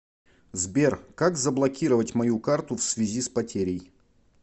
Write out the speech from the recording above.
сбер как заблокировать мою карту всвязи с потерей